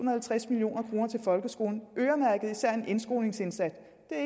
og halvtreds million kroner til folkeskolen øremærket især til en indskolingsindsats